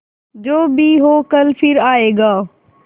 जो भी हो कल फिर आएगा